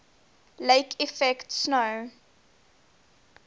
lake effect snow